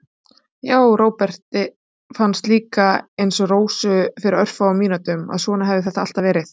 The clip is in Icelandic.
Já, Róbert fannst líka, einsog Rósu fyrir örfáum mínútum, að svona hefði þetta alltaf verið.